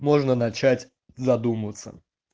можно начать задумываться